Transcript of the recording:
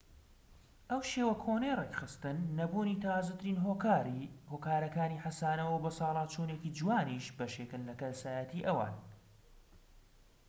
ئەو شێوە کۆنەی ڕێکخستن نەبوونی تازەترین هۆکارەکانی حەسانەو و بەساڵاچوونێکی جوانیش بەشێکن لە کەسایەتی ئەوان